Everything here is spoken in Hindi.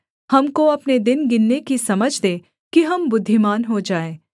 हमको अपने दिन गिनने की समझ दे कि हम बुद्धिमान हो जाएँ